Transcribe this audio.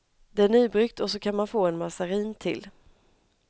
Det är nybryggt och så kan man få en mazarin till.